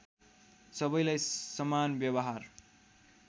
सबैलाई समान व्यवहार